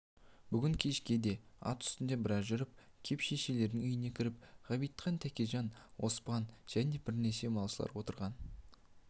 бүгін кеште де ат үстінде біраз жүріп кеп шешелерінің үйіне кіріп ғабитхан тәкежан оспан және бірнеше малшылар отырған